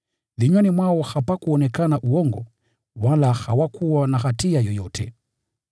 Vinywani mwao hapakuonekana uongo, wala hawakuwa na hatia yoyote.